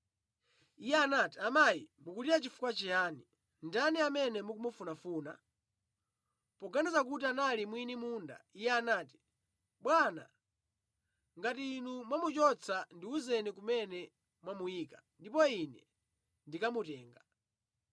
Iye anati, “Amayi, mukulira chifukwa chiyani? Ndani amene mukumufunafuna?” Poganiza kuti anali mwini munda, iye anati, “Bwana, ngati inu mwamuchotsa, ndiwuzeni kumene mwamuyika, ndipo ine ndikamutenga.”